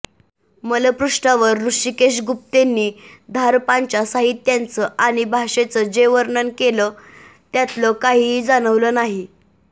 मलपृष्ठावर हृषिकेश गुप्तेंनी धारपांच्या साहित्याचं आणि भाषेचं जे वर्णन केलं त्यातलं काहीही जाणवलं नाही